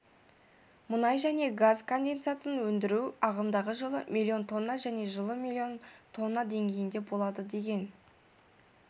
мұнай және газ конденсатын өндіру ағымдағы жылы миллион тонна және жылы миллион тонна деңгейінде болады деген